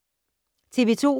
TV 2